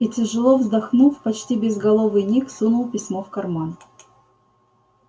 и тяжело вздохнув почти безголовый ник сунул письмо в карман